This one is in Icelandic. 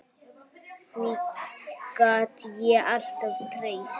Því gat ég alltaf treyst.